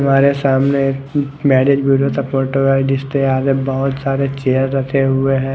तुमरे सामने एक marriage bureau स्पोटर आर्टिस्ट है यहा पे बहोत सारे चेयर रखे हुए है।